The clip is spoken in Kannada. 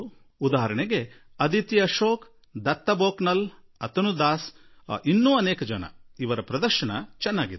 ಉದಾಹರಣೆಗೆ ಅಧಿತಿ ಅಶೋಕ್ ದತ್ತು ಬೋಪ್ನಲ್ ಅಥನು ದಾಸ್ ಇವರಂತೆ ಅನೇಕರ ಪ್ರದರ್ಶನ ಉತ್ತಮವಾಗಿತ್ತು